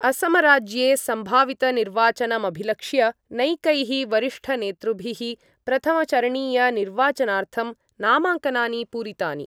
असमराज्ये संभावितनिर्वाचनमभिलक्ष्य नैकैः वरिष्ठनेतृभिः प्रथमचरणीयनिर्वाचनार्थं नामाङ्कनानि पूरितानि।